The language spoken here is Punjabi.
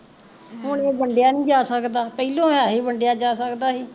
ਹੁਣ ਏਹ ਵੰਡਿਆ ਨੀ ਜਾਂ ਸਕਦਾ ਪਹਿਲੋਂ ਸੀ ਵੀ ਵੰਡਿਆ ਜਾਂ ਸਕਦਾ ਸੀ